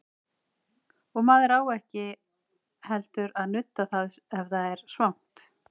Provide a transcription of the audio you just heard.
Og maður á ekki heldur að nudda það ef það er svangt.